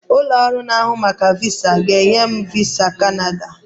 Ụlọ ọrụ na-ahụ maka VISA ga-enye m VISA Kanada